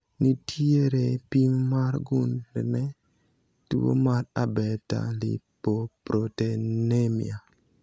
nitiere pim mar gund ne tuo mar abetalipoproteinemia.